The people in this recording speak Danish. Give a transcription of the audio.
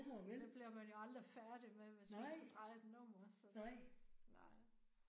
Det bliver man jo aldrig færdig med hvis man skulle dreje et nummerså det nej